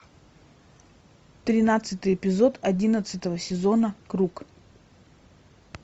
тринадцатый эпизод одиннадцатого сезона круг